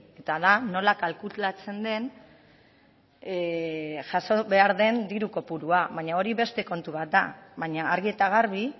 eta da nola kalkulatzen den jaso behar den diru kopurua baina hori beste kontu bat da baina argi eta garbi